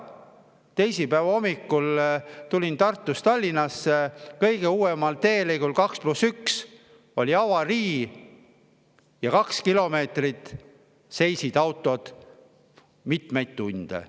Teisipäeva hommikul tulin Tartust Tallinnasse, kõige uuemal teelõigul 2 + 1 oli avarii ja autod seisid seal kahekilomeetrises mitmeid tunde.